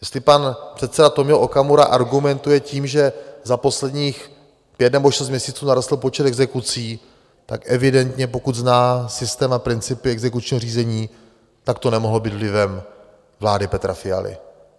Jestli pan předseda Tomio Okamura argumentuje tím, že za posledních pět nebo šest měsíců narostl počet exekucí, tak evidentně, pokud zná systém a principy exekučního řízení, tak to nemohlo být vlivem vlády Petra Fialy.